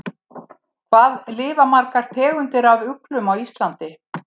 Hvað lifa margar tegundir af uglum á Íslandi?